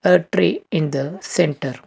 the tree in the centre